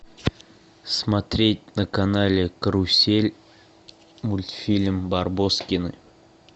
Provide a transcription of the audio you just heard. смотреть на канале карусель мультфильм барбоскины